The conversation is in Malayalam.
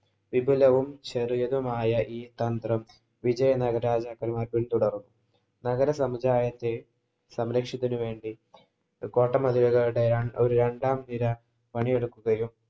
വിപുലവും, ചെറിയതുമായ ഈ തന്ത്രം വിജയനഗര തുടര്‍ന്നു. നഗര സമുദായത്തെ സംരക്ഷിക്കുന്നതിനു വേണ്ടി കോട്ട മതിലുകളുടെ ഒരു രണ്ടാം നിര